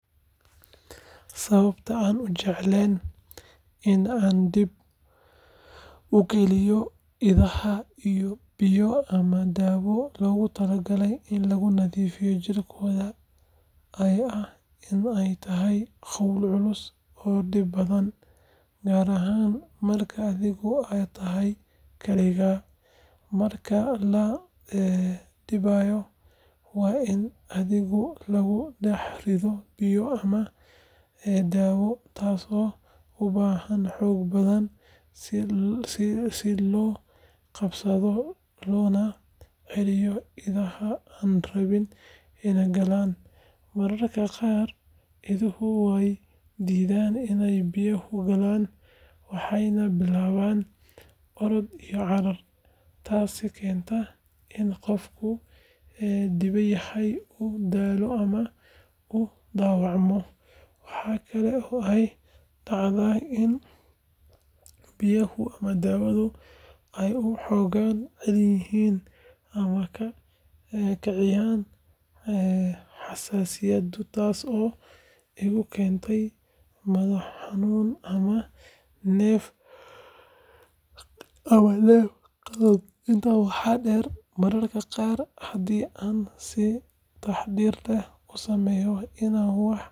Sababta aanan u jeclayn in aan dib u geliyo idaha biyo ama daawo loogu talagalay in lagu nadiifiyo jirradooda ayaa ah in ay tahay hawl culus oo dhib badan, gaar ahaan marka adigu aad tahay kaligaa. Marka la dibayo, waa in adhiga lagu dhex rido biyo leh daawo, taasoo u baahan xoog badan si loo qabsado loona celiyo idaha aan rabin inay galaan. Mararka qaar iduhu way diidaan inay biyaha galaan, waxayna bilaabaan orod iyo carar, taasoo keenta in qofka dibinaya uu daalo ama uu dhaawacmo. Waxa kale oo ay dhacdaa in biyaha ama daawadu ay ur xooggan leeyihiin ama ka kiciyaan xasaasiyad, taas oo igu keenaysa madax xanuun ama neef qabad. Intaa waxaa dheer, mararka qaar haddii aan si taxaddar leh loo samayn, idaha way.